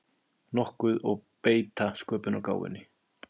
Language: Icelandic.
nokkuð og beita sköpunargáfunni.